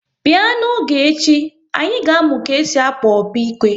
Bịa n'oge echi, anyị ga-amụ ka esi akpọ opi-ike!